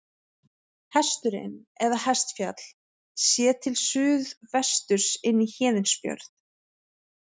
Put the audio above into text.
Hesturinn eða Hestfjall, séð til suðvesturs inn í Héðinsfjörð.